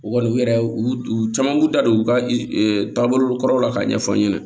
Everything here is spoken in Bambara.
U kɔni u yɛrɛ u caman b'u da don u ka taabolokɔrɔw la k'a ɲɛfɔ an ɲɛna